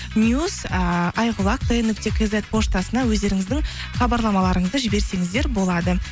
ыыы айқұлақ т нұкте кизет поштасына өздеріңізді хабарламаларыңызды жіберсеңіздер болады